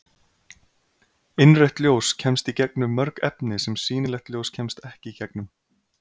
Innrautt ljós kemst í gegnum mörg efni sem sýnilegt ljós kemst ekki í gegnum.